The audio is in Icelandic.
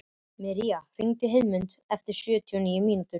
Míra, hringdu í Heiðmund eftir sjötíu og níu mínútur.